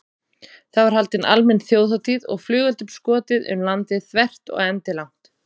Það var haldin almenn þjóðhátíð og flugeldum skotið um landið þvert og endilangt.